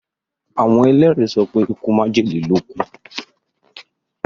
Àwon èlérí sopé ikú májèlé ló kúú.